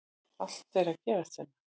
Allt er að gerast hérna!!